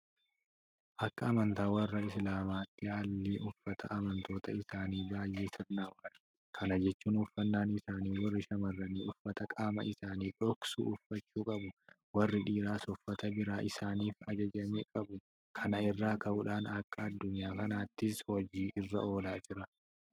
Akka amantaa warra Islaamaatti haalli uffata amantoota isaanii baay'ee sirnaawaadha. Kana jechuun uffannaan isaanii warri shaamarranii uffata qaama isaanii dhoksu uffachuu qabu. Warri dhiiraas uffata biraa isaaniif ajajame qabu. Kana irraa ka'uudhaan akka addunyaa kanaattis hojii irra oolaa jira.